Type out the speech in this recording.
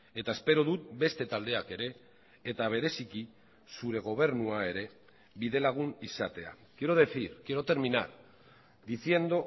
eta espero dut beste taldeak ere eta bereziki zure gobernua ere bidelagun izatea quiero decir quiero terminar diciendo